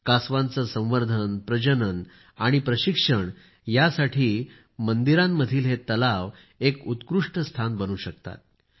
कासवांचे संवर्धन प्रजनन व प्रशिक्षण यासाठी मंदिरांतील हे तलाव एक उत्कृष्ट स्थान बनू शकतात